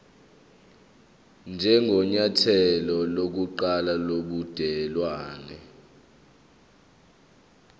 njengenyathelo lokuqala lobudelwane